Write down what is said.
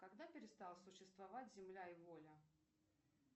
когда перестала существовать земля и воля